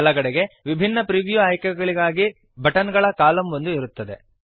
ಬಲಗಡೆಗೆ ವಿಭಿನ್ನ ಪ್ರಿವ್ಯೂ ಆಯ್ಕೆಗಳಿಗಾಗಿ ಬಟನ್ ಗಳ ಕಾಲಮ್ ಒಂದು ಇರುತ್ತದೆ